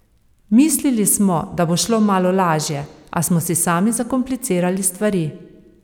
Mislili smo, da bo šlo malo lažje, a smo si sami zakomplicirali stvari.